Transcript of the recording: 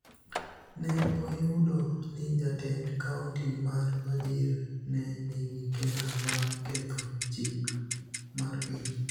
ne oyudo ni jatend kaonti mar Wajir ne nigi ketho mar ketho chik mar piny